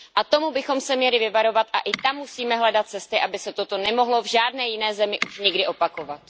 A tomu bychom se měli vyvarovat a i tam musíme hledat cesty, aby se toto nemohlo v žádné jiné zemi už nikdy opakovat.